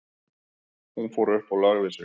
Hún fór upp og lagði sig.